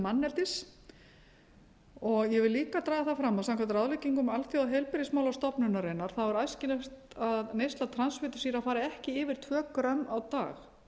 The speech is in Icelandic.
manneldis ég vil líka draga það fram að samkvæmt ráðleggingum alþjóðaheilbrigðismálastofnunarinnar er æskilegt að neysla transfitusýra fari ekki yfir tvö grömm á dag